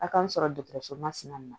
A k'an sɔrɔ dɔgɔtɔrɔso mansina